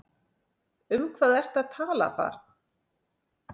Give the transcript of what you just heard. Um hvað ertu að tala barn?